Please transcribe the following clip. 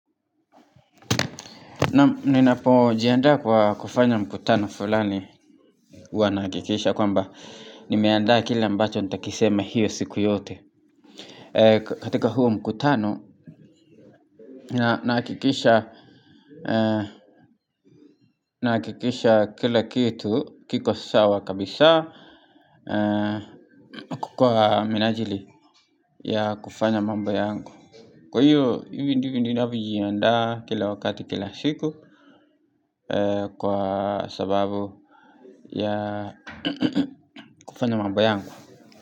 Ninapo jiandaa kwa kufanya mkutano fulani huwa nahakikisha kwamba Nimeanda kile ambacho nitakisema hiyo siku yote katika huo mkutano nahakikisha Naakikisha kila kitu kiko sawa kabisa Kwa minajili ya kufanya mambo yangu Kwa hiyo hivyo ndivyo ninavyo jiandaa kila wakati kila siku Kwa sababu ya kufanya mambo yangu.